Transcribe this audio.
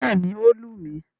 Bẹ́ẹ̀ni, ó lù mí.